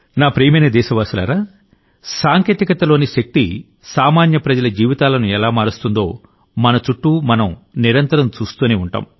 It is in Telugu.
నా ప్రియమైన దేశవాసులారా సాంకేతికతలోని శక్తి సామాన్య ప్రజల జీవితాలను ఎలా మారుస్తుందోమన చుట్టూ మనం నిరంతరం చూస్తూనే ఉంటాం